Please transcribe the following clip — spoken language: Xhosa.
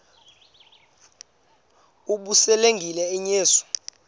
ukuba selengenile uyesu